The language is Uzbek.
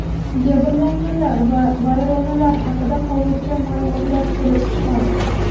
Jabrlanganlar va vayronalar haqida hozircha ma’lumotlar kelib tushmadi.